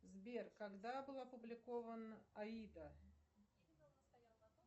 сбер когда был опубликован аида